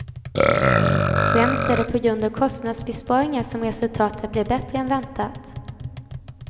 Främst är det på grund av kostnadsbesparingar som resultatet blev bättre än väntat.